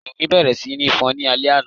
Yìnyín bẹ̀rẹ̀ sí ní fọ́n ní alé àna